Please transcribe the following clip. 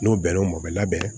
N'o bɛnn'o ma o bɛ labɛn